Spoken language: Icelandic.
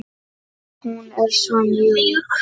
Hún er svo mjúk.